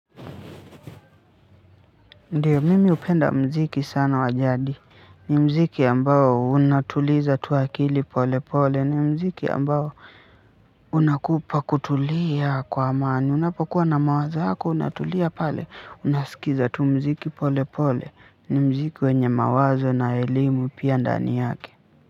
Ndio, mimi hupenda sana muziki wa jadi ni muziki ambao unatuliza tw akili polepole, ni muziki ambao unakupa kutulia kwa amani unapokuwa na mawazo yako unatulia pale unasikiza tu mziki pole pole ni mziki wenye mawazo na elimu pia ndani yake.